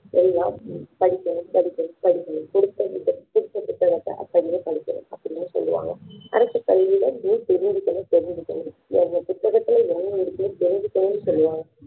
எல்லாம் படிக்கணும் படிக்கணும் படிக்கணும் கொடுத்த புத்தகத்தை கொடுத்த புத்தகத்தை அப்படியே படிக்கணும் அப்படின்னு சொல்லுவாங்க அரசு பள்ளிகளில் தெரிஞ்சுக்கனும் தெரிஞ்சுக்கணு புத்தகத்தில் என்ன இருக்குன்னு தெரிஞ்சிக்கணும்னு சொல்லுவாங்க